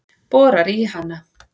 Borar í hana.